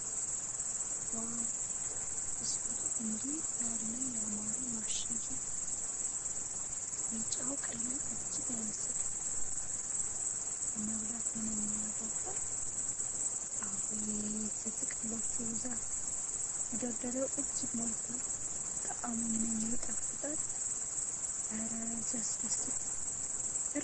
ዋው! ቢስኪቱ እንዴት ያለ ያማረ ማሸጊያ! ቢጫው ቀለም እጅግ ዓይን ይስባል። ለመብላት ምንኛ ያጓጓል! አቤት የጥቅሎቹ ብዛት! መደርደሪያው እጅግ ሞልቷል። ጣዕሙ ምንኛ ይጣፍጣል! እረ ሲያስደስት! ርካሽ ነው?